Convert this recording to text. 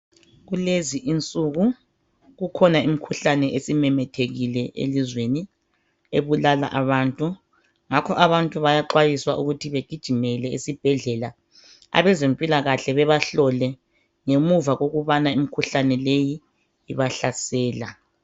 kulezi insuku kukhona imkhuhlane esimemethekile elizweni ebulala abantu ngakho abantu bayaxwayiswa ukuthi begijimele esibhedlela abezempilakahle bebahlole ngemuva kokubana imkhuhlane leyi ibahlasela